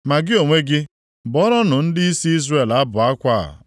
“Ma gị onwe gị, bụọrọnụ ndịisi Izrel abụ akwa a,